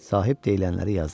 Sahib deyilənləri yazdı.